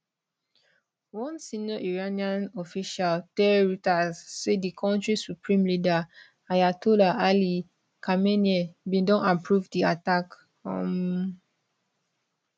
one senior iranian official tell reuters say di kontri supreme leader ayatollah ali khamenei bin don approve di attack um